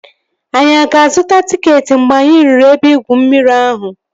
Anyị aga azụta tịketị mgbe anyị ruru ebe igwu mmiri ahụ?